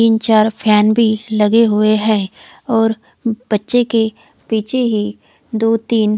तिन चार फेन भी लगे हुए है और बच्चे के पीछे ही दो तिन--